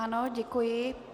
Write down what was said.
Ano, děkuji.